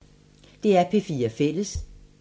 DR P4 Fælles